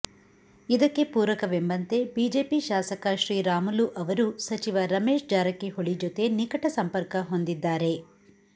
ಇದಕ್ಕೆ ಪೂರಕವೆಂಬಂತೆ ಬಿಜೆಪಿ ಶಾಸಕ ಶ್ರೀರಾಮುಲು ಅವರು ಸಚಿವ ರಮೇಶ್ ಜಾರಕಿಹೊಳಿ ಜೊತೆ ನಿಕಟ ಸಂಪರ್ಕ ಹೊಂದಿದ್ದಾರೆ